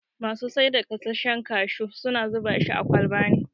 Masu saida gasashshen kashu suna zubashi a kwalba ne